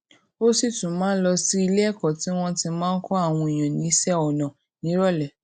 ó sì tún máa ń lọ sí iléèkó tí wón ti máa ń kó àwọn èèyàn níṣé ọnà níròlé